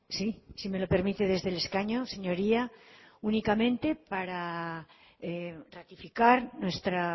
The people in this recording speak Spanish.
sí si me lo permite desde el escaño señoría únicamente para ratificar nuestra